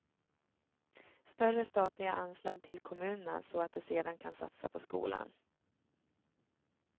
Större statliga anslag till kommunerna så att de sedan kan satsa på skolan.